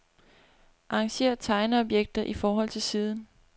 Arrangér tegneobjekter i forhold til siden.